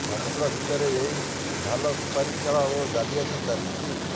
ସମୁଦ୍ର ଭିତରେ ଏହି ଢାଲ ସୁପାରି ଖେଳ ଓ ଜାଲିଆତି ଚାଲିଛି